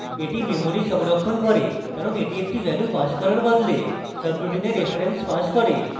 এটি memory সংরক্ষণ করে কারণ এটি একটি value passes করার বদলে subroutine reference passes করে